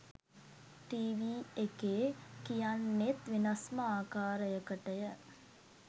TV එකේ කියන්නෙත් වෙනස්ම ආකාරයකටය